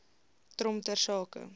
trom ter sake